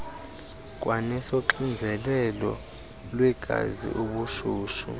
kwanesoxinzelelo lwegazi ubushushu